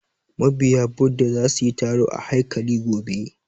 Ma biya Bhudha za su taru a haikali gobe